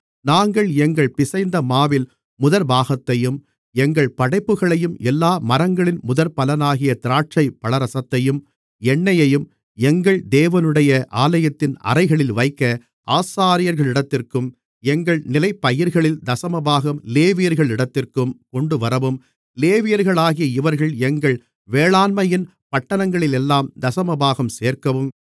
நாங்கள் எங்கள் பிசைந்தமாவில் முதற்பாகத்தையும் எங்கள் படைப்புகளையும் எல்லா மரங்களின் முதற்பலனாகிய திராட்சைப்பழரசத்தையும் எண்ணெயையும் எங்கள் தேவனுடைய ஆலயத்தின் அறைகளில் வைக்க ஆசாரியர்களிடத்திற்கும் எங்கள் நிலப்பயிர்களில் தசமபாகம் லேவியர்களிடத்திற்கும் கொண்டுவரவும் லேவியர்களாகிய இவர்கள் எங்கள் வேளாண்மையின் பட்டணங்களிலெல்லாம் தசமபாகம் சேர்க்கவும்